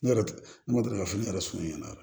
Ne yɛrɛ ne ma deli ka fo ne yɛrɛ sumana ɲɛna